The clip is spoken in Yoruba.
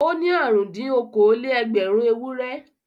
Ó ní àrùn-dín-okòó-lé-ẹgbẹ̀rún ewúrẹ́.